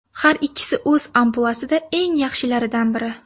Har ikkisi o‘z ampluasida eng yaxshilardan biri.